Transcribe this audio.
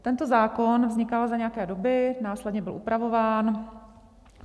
Tento zákon vznikal za nějaké doby, následně byl upravován.